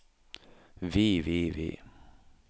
vi vi vi